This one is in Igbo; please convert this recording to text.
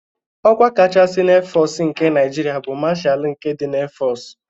Ọkwa kachasị na Éfọọsụ nke Naịjirịa bụ Mashalu nke ndị Éfọọsụ.